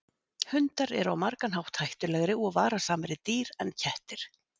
Hundar eru á margan hátt hættulegri og varasamari dýr en kettir.